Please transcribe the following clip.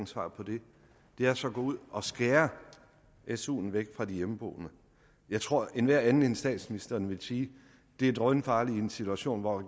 svar på det det er så at gå ud og skære suen væk fra de hjemmeboende jeg tror enhver anden end statsministeren vil sige at det er drønfarligt i en situation hvor